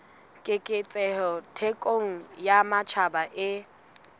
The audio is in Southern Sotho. keketseho thekong ya matjhaba e